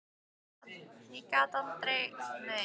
Ég get aldrei verið með í neinu.